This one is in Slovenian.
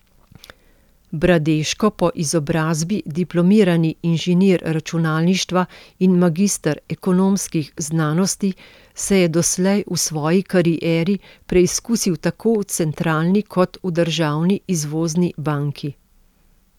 Bradeško, po izobrazbi diplomirani inženir računalništva in magister ekonomskih znanosti, se je doslej v svoji karieri preizkusil tako v centralni, kot v državni izvozni banki.